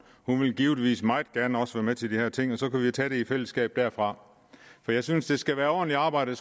hun vil givetvis meget gerne også være med til de her ting og så kunne vi tage det i fællesskab derfra for jeg synes det skal være ordentligt arbejde og